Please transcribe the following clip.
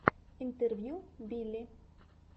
интервью билли